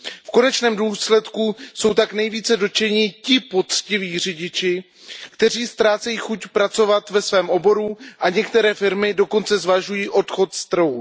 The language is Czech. V konečném důsledku jsou tak nejvíce dotčeni ti poctiví řidiči, kteří ztrácejí chuť pracovat ve svém oboru, a některé firmy dokonce zvažují odchod z trhu.